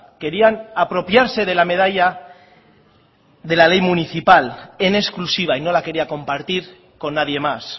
querían apropiarse de la medalla de la ley municipal en exclusiva y no la quería compartir con nadie más